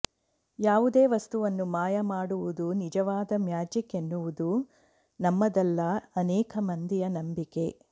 ಯಾವುದೇ ವಸ್ತುವನ್ನು ಮಾಯ ಮಾಡುವುದೇ ನಿಜವಾದ ಮ್ಯಾಜಿಕ್ಎನ್ನುವುದ ನಮ್ಮದಲ್ಲ ಅನೇಕ ಮಂದಿಯ ನಂಬಿಕೆ